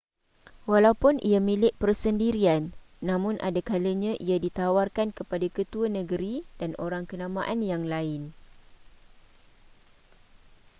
walaupun ia milik persendirian namun ada kalanya ia ditawarkan kepada ketua negeri dan orang kenamaan yang lain